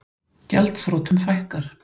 Gjaldþrotum fækkar